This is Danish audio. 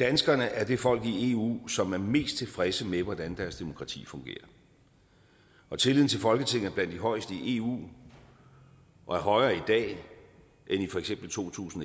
danskerne er det folk i eu som er mest tilfredse med hvordan deres demokrati fungerer og tilliden til folketinget er blandt de højeste i eu og højere i dag end i for eksempel to tusind